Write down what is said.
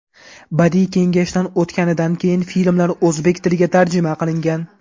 Badiiy kengashdan o‘tganidan keyin filmlar o‘zbek tiliga tarjima qilingan.